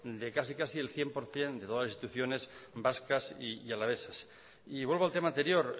de casi casi el cien por ciento de todas las instituciones vascas y alavesas y vuelvo al tema anterior